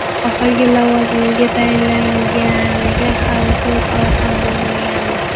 Oxirgi lavozimiga tayinlanganiga hali to‘rt oy ham bo‘lmagandi.